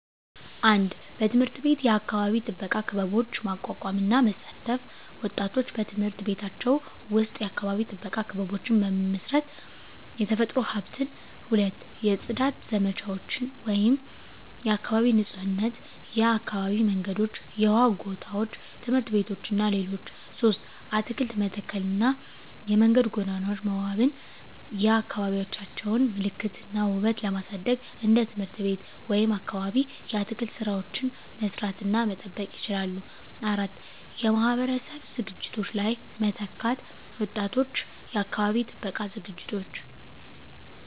1. በትምህርት ቤት የአካባቢ ጥበቃ ክበቦች ማቋቋም እና መሳተፍ ወጣቶች በትምህርት ቤቶቻቸው ውስጥ የአካባቢ ጥበቃ ክበቦችን በመመስረት፣ የተፈጥሮ ሀብትን። 2. የጽዳት ዘመቻዎች (የአካባቢ ንፁህነት) የአካባቢ መንገዶች፣ የውሃ ጎታዎች፣ ትምህርት ቤቶች እና ሌሎች 3. አትክልት መተከልና የመንገድ ጎኖች መዋበን የአካባቢዎቻቸውን ምልክት እና ውበት ለማሳደግ እንደ ትምህርት ቤት ወይም አካባቢ የአትክልት ሥራዎችን መስራት እና መጠበቅ ይችላሉ። 4. የማህበረሰብ ዝግጅቶች ላይ መተካት ወጣቶች የአካባቢ ጥበቃ ዝግጅቶች